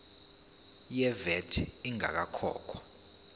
ye vat ingakakhokhwa